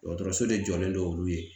Dɔgɔtɔrɔso de jɔlen no olu ye